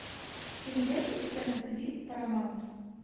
ты найдешь у себя на тиви парамаунт